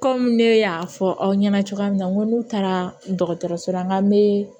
Kɔmi ne y'a fɔ aw ɲɛna cogoya min na n ko n'u taara dɔgɔtɔrɔso la ka me